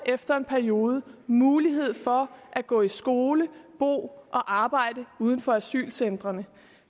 efter en periode får mulighed for at gå i skole bo og arbejde uden for asylcentrene